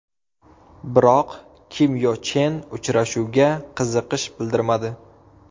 Biroq Kim Yo Chen uchrashuvga qiziqish bildirmadi.